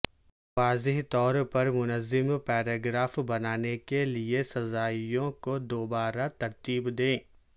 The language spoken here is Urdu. واضح طور پر منظم پیراگراف بنانے کے لئے سزائیںوں کو دوبارہ ترتیب دیں